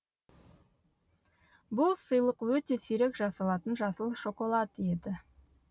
бұл сыйлық өте сирек жасалатын жасыл шоколад еді